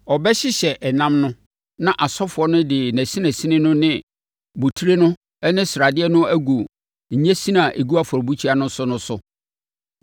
Ɔbɛhyehyɛ ɛnam no na asɔfoɔ no de nʼasinasini no ne botire no ne ne sradeɛ no agu nnyensin a ɛgu afɔrebukyia no so no so.